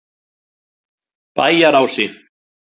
Bæjarási